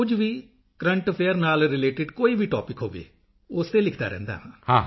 ਕੁਝ ਵੀ current affairs ਨਾਲ ਰੀਲੇਟਿਡ ਕੋਈ ਵੀ ਟੌਪਿਕ ਹੋਵੇ ਉਸ ਤੇ ਲਿਖਦਾ ਰਹਿੰਦਾ ਹਾਂ